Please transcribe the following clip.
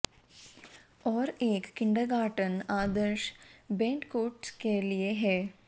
और एक किंडरगार्टन आदर्श बेड कोट्स के लिए है